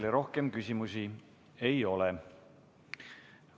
Teile rohkem küsimusi ei ole.